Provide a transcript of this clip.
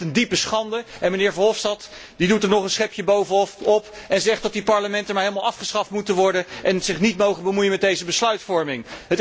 Ik vind het een diepe schande en de heer Verhofstadt doet er nog een schepje bovenop en zegt dat die parlementen maar helemaal afgeschaft moeten worden en zich niet mogen bemoeien met deze besluitvorming.